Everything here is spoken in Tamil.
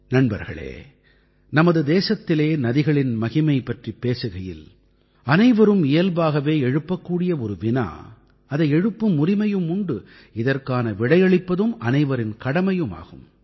நண்பர்களே நமது தேசத்திலே நதிகளின் மகிகை பற்றிப் பேசுகையில் அனைவரும் இயல்பாகவே எழுப்பக்கூடிய ஒரு வினா அதை எழுப்பும் உரிமையும் உண்டு இதற்கான விடையளிப்பதும் அனைவரின் கடமை ஆகும்